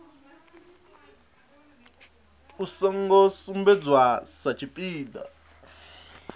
u songo sumbedzwa sa tshipiḓa